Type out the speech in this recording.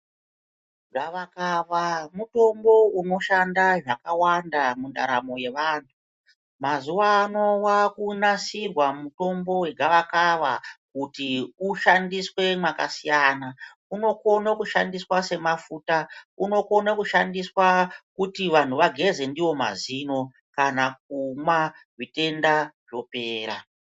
Gavakava mutombo unoshanda zvakawanda mundaramo yevantu. Mazuwa ano vakunasirwa mutombo vegavakava kuti ushandiswe mwakasiyana. Unokona kushandiswa semafuta unokona kushandiswa kuti vantu vageze ndiwo mazino kana kumwa zvitenda zvopera.